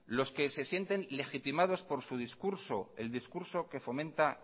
los que se sienten legitimados por su discurso el discurso que fomenta